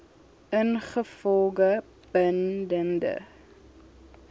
ingevolge bin dende